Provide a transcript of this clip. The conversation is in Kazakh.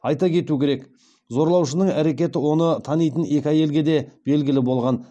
айта кету керек зорлаушының әрекеті оны танитын екі әйелге де белгілі болған